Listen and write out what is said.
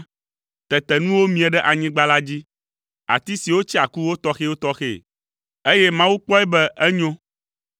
Tete nuwo mie ɖe anyigba la dzi: ati siwo tsea ku wotɔxɛwotɔxɛe, eye Mawu kpɔe be enyo.